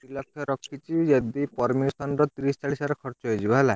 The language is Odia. ଦି ଲକ୍ଷ ରଖିଛି ଯଦି permission ର ତିରିଶି ଚାଳିଶି ହଜାର ଖର୍ଚ ହେଇଯିବ ହେଲା।